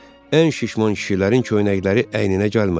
Ən şişman kişilərin köynəkləri əyninə gəlmədi.